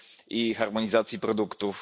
i harmonizacji produktów.